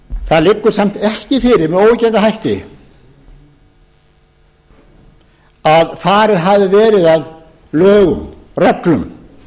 það liggur samt ekki fyrir með óyggjandi hætti að farið hafi verið að lögum reglum